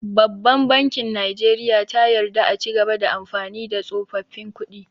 Babban bankin najeriya ta yarda a cigaba da amfani da tsofaffin kuɗi